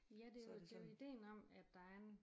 Ja det jo det jo idéen om at der er en